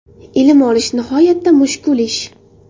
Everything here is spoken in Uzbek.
Ilm olish nihoyatda mushkul ish.